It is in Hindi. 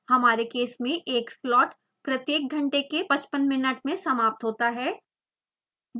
हमारे केस में एक slot प्रत्येक घंटे के 55 मिनट में समाप्त होता है